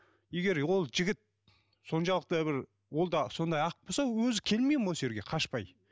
егер ол жігіт соншалықты бір ол да сондай ақ болса өзі келмейді ме осы жерге қашпай